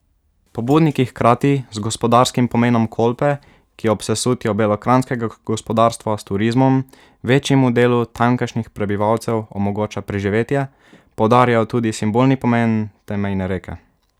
Pobudniki hkrati z gospodarskim pomenom Kolpe, ki ob sesutju belokranjskega gospodarstva s turizmom večjemu delu tamkajšnjih prebivalcev omogoča preživetje, poudarjajo tudi simbolni pomen te mejne reke.